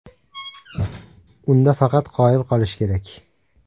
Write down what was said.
Unda faqat qoyil qolish kerak.